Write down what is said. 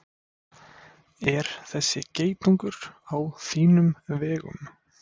Er þessi geitungur á þínum vegum?